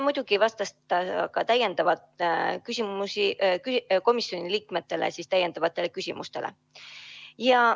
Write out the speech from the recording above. Muidugi vastas ta ka komisjoni liikmete täiendavatele küsimustele.